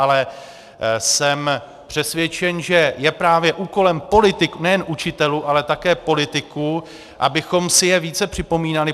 Ale jsem přesvědčen, že je právě úkolem politiků, nejen učitelů, ale také politiků, abychom si je více připomínali.